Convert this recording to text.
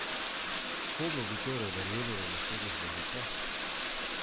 Komu bi torej verjeli na naslednjih volitvah?